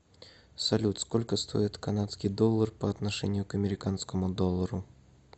салют сколько стоит канадский доллар по отношению к американскому доллару